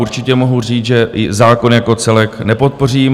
Určitě mohu říct, že i zákon jako celek nepodpořím.